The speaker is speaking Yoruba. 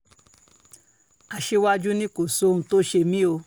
aṣíwájú ni kò sí ohun tó ṣe mí o